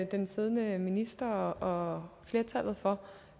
den siddende minister og flertallet for